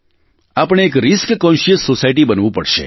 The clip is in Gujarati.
આપણે એક રિસ્ક કોન્શ્યસ સોસાયટી બનવું પડશે